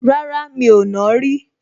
Rárá, mi ò nàá rí